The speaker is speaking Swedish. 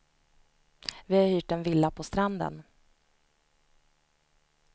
Vi har hyrt en villa på stranden.